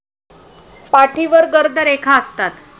पाठीवर गर्द रेखा असतात.